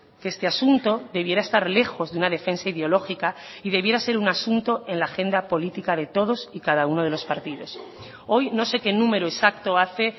que este asunto debiera estar lejos de una defensa ideológica y debiera ser un asunto en la agenda política de todos y cada uno de los partidos hoy no sé qué número exacto hace